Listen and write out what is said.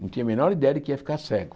Não tinha a menor ideia de que ia ficar cego.